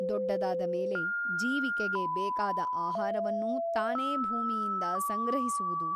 ದೊಡ್ಡದಾದ ಮೇಲೆ ಜೀವಿಕೆಗೆ ಬೇಕಾದ ಆಹಾರವನ್ನೂ ತಾನೇ ಭೂಮಿಯಿಂದ ಸಂಗ್ರಹಿಸುವುದು.